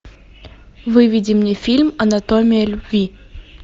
выведи мне фильм анатомия любви